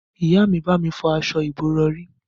Ìyá mi bá mi fọ aṣọ ìbòrọ̀rí